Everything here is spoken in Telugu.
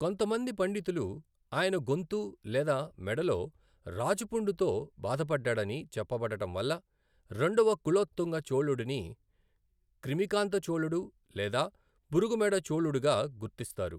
కొంతమంది పండితులు, ఆయన గొంతు లేదా మేడలో రాచపుండుతో బాధపడ్డాడని చెప్పబడడంవల్ల రెండవ కులోతుంగ చోళుడిని క్రిమికాంత చోళుడు లేదా పురుగు మెడ చోళుడుగా గుర్తిస్తారు.